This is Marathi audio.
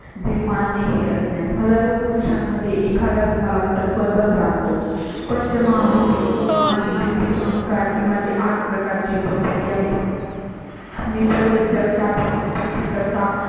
विमान हे अज्ञान हजारो पुरुषां मध्ये एखादाच मला तत्वाचा जातो. पंचमहाभूते आणि बुद्धी अहंकार ची माझी आठ प्रकारची प्रकृती आहे. मी सर्व जगता चा उत्पत्ति, कर्ता